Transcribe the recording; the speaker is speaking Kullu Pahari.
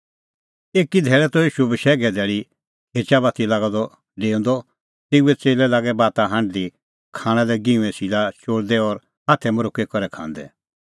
एकी धैल़ै त ईशू बशैघे धैल़ी खेचा बाती लागअ द डेऊंदअ तेऊए च़ेल्लै लागै बाता हांढदी खाणां लै गिंहूंए सीला चोल़दै और हाथै मरोक्की करै खांदै